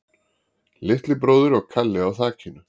Litli bróðir og Kalli á þakinu